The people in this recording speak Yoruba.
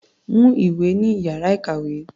Mú ìwé ní ìyára ìkàwé.